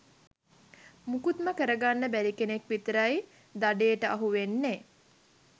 මුකුත්ම කරගන්න බැරි කෙනෙක් විතරයි දඩේට අහු වෙන්නේ.